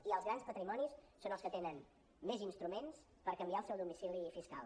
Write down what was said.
i els grans patrimonis són els que tenen més instruments per canviar el seu domicili fiscal